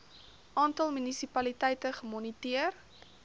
aantal munisipaliteite gemoniteer